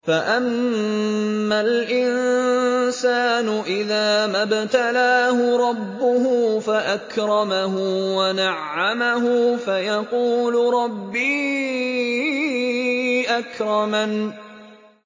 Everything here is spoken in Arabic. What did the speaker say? فَأَمَّا الْإِنسَانُ إِذَا مَا ابْتَلَاهُ رَبُّهُ فَأَكْرَمَهُ وَنَعَّمَهُ فَيَقُولُ رَبِّي أَكْرَمَنِ